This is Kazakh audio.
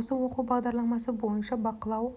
осы оқу бағдарламасы бойынша бақылау